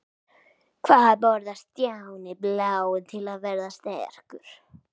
Hvað borðar Stjáni blái til að verða sterkur?